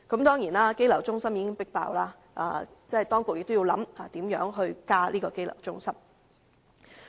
當然，羈留中心已經爆滿，當局亦要考慮如何增設羈留中心。